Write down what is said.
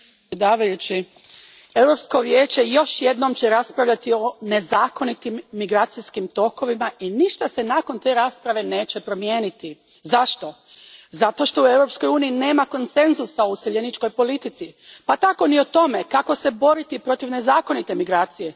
Gospodine predsjedniče, Europsko vijeće još jednom će raspravljati o nezakonitim migracijskim tokovima i ništa se nakon te rasprave neće promijeniti. Zašto? Zato što u Europskoj uniji nema konsenzusa o useljeničkoj politici, pa tako ni o tome kako se boriti protiv nezakonite migracije.